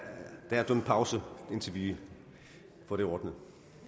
dømt pause indtil vi får det ordnet